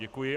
Děkuji.